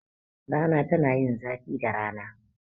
Rana ta yin zafi da rana.